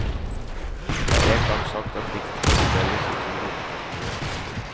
De har engang sagt at dikt kan inndeles i to hovedkategorier.